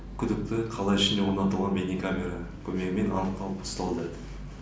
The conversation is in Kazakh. күдікті қала ішінде орнатылған бейнекамера көмегімен анықталып ұсталды